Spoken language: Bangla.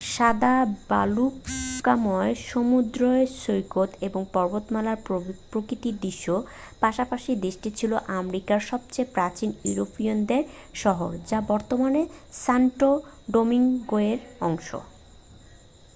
সাদা বালুকাময় সমুদ্র সৈকত এবং পর্বতমালার প্রাকৃতিক দৃশ্যর পাশাপাশি দেশটি ছিল আমেরিকার সবচেয়ে প্রাচীন ইউরোপীয়ানদের শহর যা বর্তমানে সান্টো ডোমিংগোয়ের অংশ